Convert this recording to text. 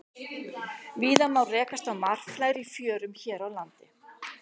Víða má rekast á marflær í fjörum hér á landi.